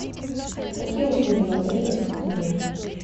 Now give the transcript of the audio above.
какие услуги в отеле доступны мне